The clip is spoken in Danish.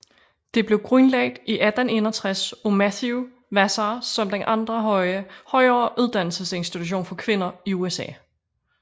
Det blev grundlagt i 1861 af Matthew Vassar som den anden højere uddannelsesinstitution for kvinder i USA